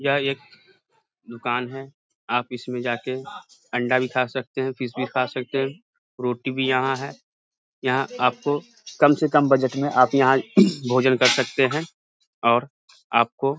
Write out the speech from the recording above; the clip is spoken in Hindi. यह एक दुकान हैं आप इसमे जाके अंडा भी खा सकते हैं फिश भी खा सकते है रोटी भी यहां हैं यहां आपको कम से कम बजट में आप यहां भोजन कर सकते हैं और आपको --